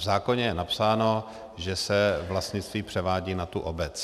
V zákoně je napsáno, že se vlastnictví převádí na tu obec.